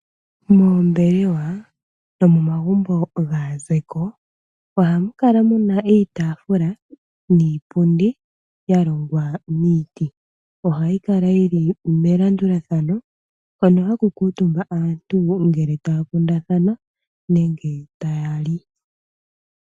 Moombelewa nomomagumbo gaazeko oha mu kala mu na iitafula niipundi ya longwa miiti oha yi kala yili melandulathano hono haku kuutumba aantu ngele taya kundathana nenge taya li.